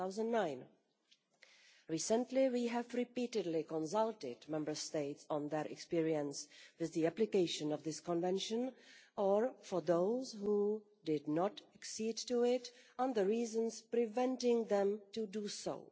2009. Recently, we have repeatedly consulted Member States on their experience with the application of this Convention or, for those who did not accede to it, on the reasons preventing them from doing so.